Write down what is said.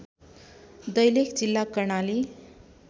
दैलेख जिल्ला कर्णाली